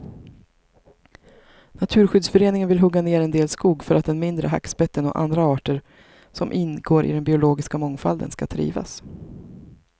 Naturskyddsföreningen vill hugga ner en del skog för att den mindre hackspetten och andra arter som ingår i den biologiska mångfalden skall trivas.